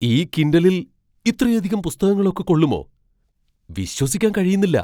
ഈ കിൻഡലിൽ ഇത്രയധികം പുസ്തകങ്ങളൊക്കെ കൊള്ളുമോ? വിശ്വസിക്കാൻ കഴിയുന്നില്ല!